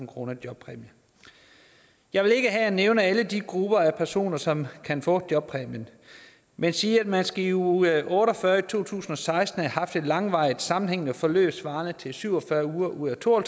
kroner i jobpræmie jeg vil ikke her nævne alle de grupper af personer som kan få jobpræmie men sige at man i uge otte og fyrre i to tusind og seksten skal have haft et langvarigt sammenhængende forløb svarende til syv og fyrre uger ud af to og